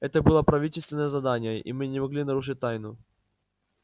это было правительственное задание и мы не могли нарушить тайну